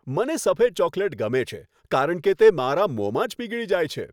મને સફેદ ચોકલેટ ગમે છે કારણ કે તે મારા મોંમાં જ પીગળી જાય છે.